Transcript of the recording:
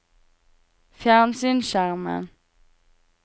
fjernsynsskjermen